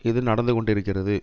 இது நடந்து கொண்டிருக்கிறது